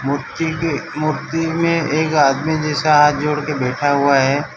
मूर्ति के मूर्ति में एक आदमी जैसा हाथ जोड़के बैठा हुआ है।